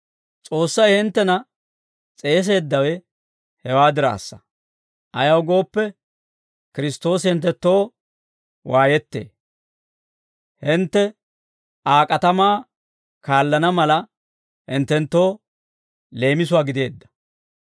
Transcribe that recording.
S'oossay hinttena s'eeseeddawe hewaa diraassa; ayaw gooppe, Kiristtoosi hinttenttoo waayettee; hintte Aa k'atamaa kaallana mala, hinttenttoo leemisuwaa gideedda.